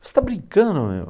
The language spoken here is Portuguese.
Você está brincando, meu?